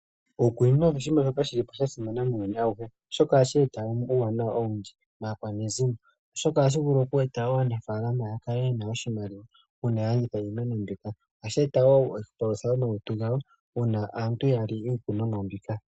Iikunino oshinima shoka shili po shasimana muuyuni awuhe oshoka ohashi eta uuwanawa owundji maakwanezimo oshoka ohashivulu oku eta wo aanafaalama yakale yena oshimaliwa uuna yalanditha iimeno mbika. Ohashi eta wo opolosa momalutu gawo uuna aantu ya li iikunomwa mbika.